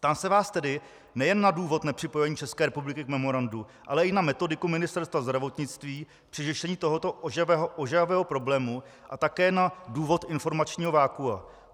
Ptám se vás tedy nejen na důvod nepřipojení České republiky k memorandu, ale i na metodiku Ministerstva zdravotnictví při řešení tohoto ožehavého problému a také na důvod informačního vakua.